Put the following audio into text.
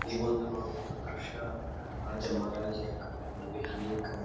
ಈ ಒಂದು ನೋಡುವಂತ ದೃಶ್ಯ ರಾಜ ಮಹಾರಾಜರ ಕಾವ್ಯದಲ್ಲಿ ಅನೇಕ.